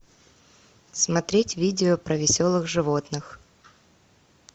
смотреть видео про веселых животных